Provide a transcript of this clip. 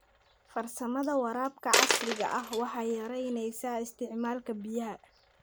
Farsamada waraabka casriga ah waxay yaraynaysaa isticmaalka biyaha.